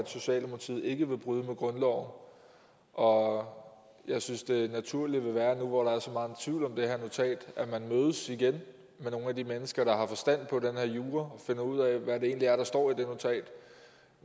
socialdemokratiet ikke vil bryde med grundloven og jeg synes det naturlige vil være nu hvor der er så meget tvivl om det her notat at man mødes igen med nogle af de mennesker der har forstand på den her jura og finder ud af hvad det egentlig er der står i det notat